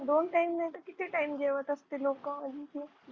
दोन time नाहीतर किती time जेवत असतील लोक